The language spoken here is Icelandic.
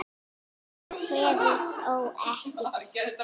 Eitt hefur þó ekki breyst.